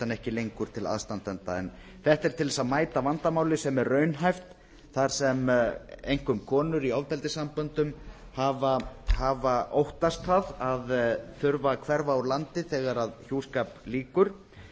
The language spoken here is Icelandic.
hann ekki lengur til aðstandanda þetta er til þess að mæta vandamáli sem raunhæft þar sem einkum konur í ofbeldissamböndum hafa óttast það að þurfa að hverfa úr landi þegar hjúskap lýkur